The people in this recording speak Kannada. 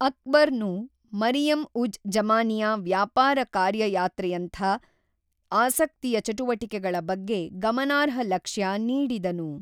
ಅಕ್ಬರ್ ನು ಮರಿಯಂ-ಉಜ್-ಜಮಾನಿಯ ವ್ಯಾಪಾರ ಕಾರ್ಯಯಾತ್ರೆಯಂಥ ಆಸಕ್ತಿಯ ಚಟುವಟಿಕೆಗಳ ಬಗ್ಗೆ ಗಮನಾರ್ಹ ಲಕ್ಷ್ಯ ನೀಡಿದನು.